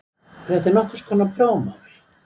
Þetta er nokkurs konar prófmál